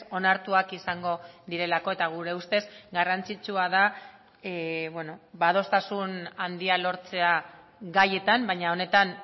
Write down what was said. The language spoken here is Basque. onartuak izango direlako eta gure ustez garrantzitsua da adostasun handia lortzea gaietan baina honetan